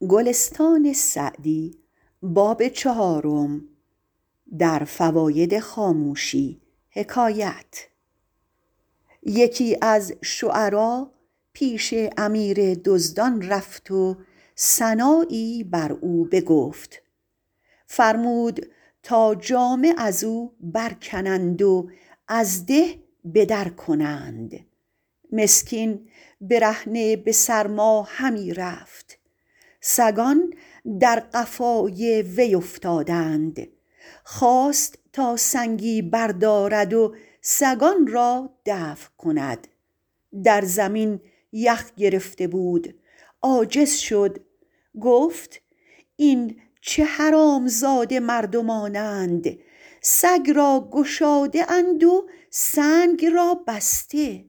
یکی از شعرا پیش امیر دزدان رفت و ثنایی بر او بگفت فرمود تا جامه از او برکنند و از ده به در کنند مسکین برهنه به سرما همی رفت سگان در قفای وی افتادند خواست تا سنگی بردارد و سگان را دفع کند در زمین یخ گرفته بود عاجز شد گفت این چه حرامزاده مردمانند سگ را گشاده اند و سنگ را بسته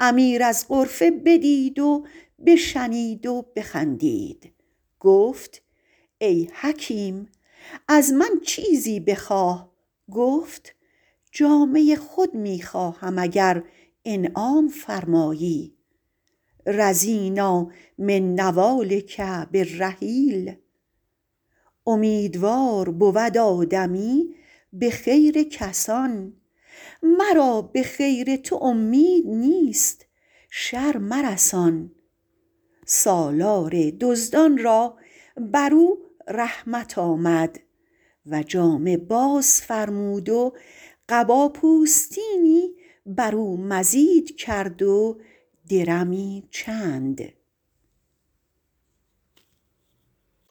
امیر از غرفه بدید و بشنید و بخندید گفت ای حکیم از من چیزی بخواه گفت جامه خود می خواهم اگر انعام فرمایی رضینٰا من نوالک بالرحیل امیدوار بود آدمی به خیر کسان مرا به خیر تو امید نیست شر مرسان سالار دزدان را بر او رحمت آمد و جامه باز فرمود و قبا پوستینی بر او مزید کرد و درمی چند